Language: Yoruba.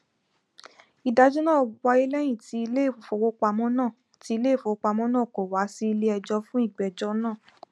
ìdájọ náà wáyé lẹyìn tí iléìfowópamọ náà tí iléìfowópamọ náà kò wá sí ilé ẹjọ fún ìgbẹjọ náà